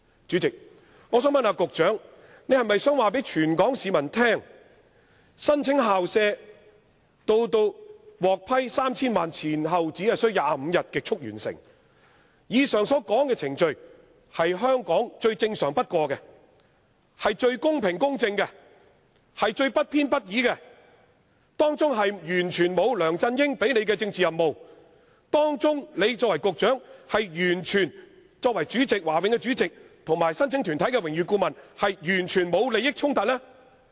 主席，我想問局長，他可否告訴全港市民，上述這項校舍申請，由提出至獲批 3,000 萬元，前後只需25天便極速完成，這程序在香港是最正常不過的、是最公平公正的，也是最不偏不倚的，當中完全不牽涉梁振英給予的政治任務，而他作為局長、華永會主席及申請團體的榮譽顧問亦完全沒有利益衝突？